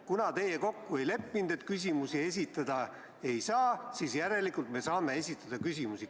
Kuna teie kokku ei leppinud, et küsimusi esitada ei saa, siis järelikult me saame esitada küsimusi.